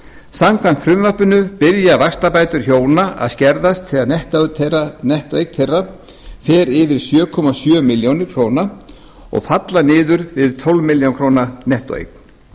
samkvæmt frumvarpinu byrja vaxtabætur hjóna að skerðast þegar nettóeign þeirra fer yfir sjö komma sjö milljónir króna og falla niður við tólf milljónir króna nettóeign